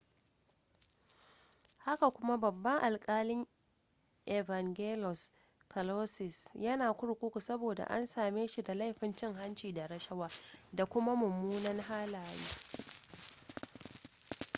haka kuma babban alkalin evangelos kalousis yana kurkuku saboda an same shi da laifin cin hanci da rashawa da kuma munanan halaye